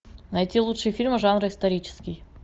найти лучшие фильмы жанра исторический